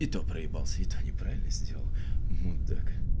и то проебался и то неправильно сделал мудак